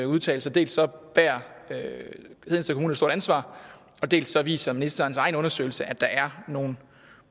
udtalelser dels bærer hedensted kommune et stort ansvar dels viser ministerens egen undersøgelse at der er nogle